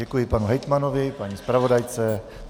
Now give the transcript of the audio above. Děkuji panu hejtmanovi, paní zpravodajce.